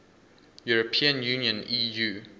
european union eu